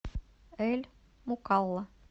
эль мукалла